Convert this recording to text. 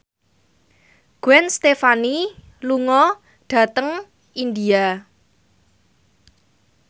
Gwen Stefani lunga dhateng India